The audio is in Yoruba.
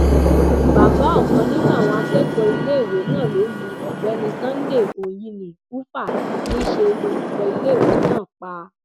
bàbá ọkan nínú àwọn akẹkọọ iléèwé náà ló lu ọgbẹni sunday onyini ufah tí í ṣe olùkọ iléèwé náà pa